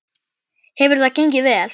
Hefur það gengið vel?